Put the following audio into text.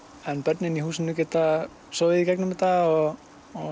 en börnin í húsinu geta sofið í gegnum þetta og